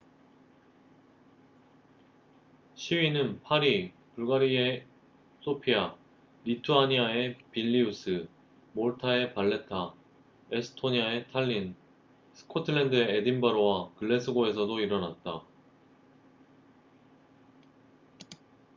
시위는 파리 불가리아의 소피아 리투아니아의 빌니우스 몰타의 발레타 에스토니아의 탈린 스코틀랜드의 에딘버러와 글래스고에서도 일어났다